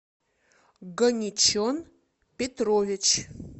ганичон петрович